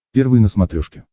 первый на смотрешке